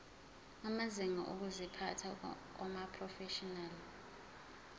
amazinga okuziphatha kumaprofeshinali